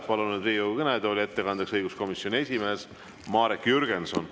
Palun nüüd Riigikogu kõnetooli ettekandeks õiguskomisjoni esimehe Marek Jürgensoni.